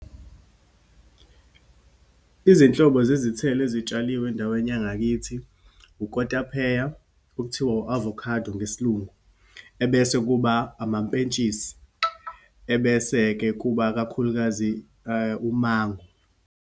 Izinhlobo zezithelo ezitshaliwe endaweni yangakithi, ukotapeya, okuthiwa u-avocado ngesiLungu, ebese kuba amampentshisi, ebese-ke kuba, kakhulukazi umango.